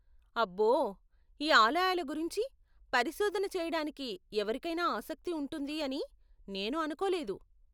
అబ్బో, ఈ ఆలయాల గురించి పరిశోధన చేయడానికి ఎవరికైనా ఆసక్తి ఉంటుంది అని నేను అనుకోలేదు.